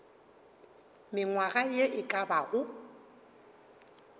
mengwaga ye e ka bago